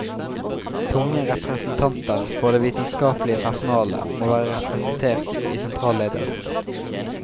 Tunge representanter for det vitenskapelige personalet må være representert i sentralledelsen.